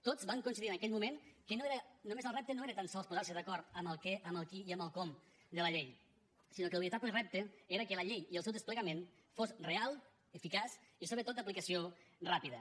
tots van coincidir en aquell moment que el repte no era tan sols posarse d’acord amb el què amb el qui i amb el com de la llei sinó que el veritable repte era que la llei i el seu desplegament fos real eficaç i sobretot d’aplicació ràpida